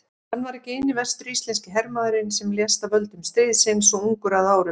Hann var ekki eini vestur-íslenski hermaðurinn sem lést af völdum stríðsins svo ungur að árum.